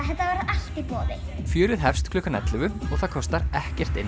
þetta verður allt í boði fjörið hefst klukkan ellefu og það kostar ekkert inn